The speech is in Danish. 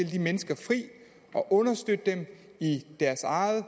de mennesker fri og understøtte dem i deres eget